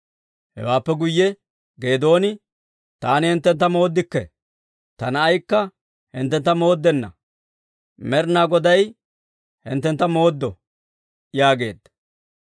Hewaappe guyye Geedooni, «Taani hinttentta mooddikke; ta na'aykka hinttentta mooddenna; Med'inaa Goday hinttentta mooddo» yaageedda.